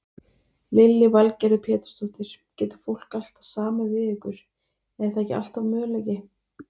Lillý Valgerður Pétursdóttir: Getur fólk alltaf samið við ykkur, er það alltaf möguleiki?